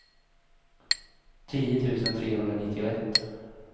tio tusen trehundranittioett